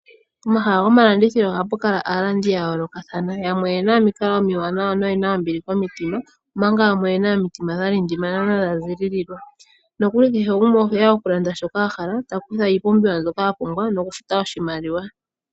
Pomahala gomalandithilo ohapu kala aalandi ya yoolokathana. Yamwe oye na omikalo omiwanawa noye na ombili komitima, omanga yamwe oye na omitima dha lindimana nodha ziyalala, nokuli kehe gumwe ohe ya okulanda shoka a hala, ta kutha iipumbiwa mbyoka a hala nokufuta oshimaliwa.